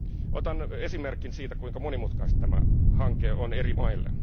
Otan esimerkin siitä, kuinka monimutkaista tämä hanke on eri maille.